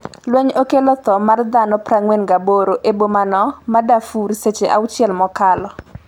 lweny okelo tho mar dhano 48 e bomano ma Darfur seche auchiel mokalo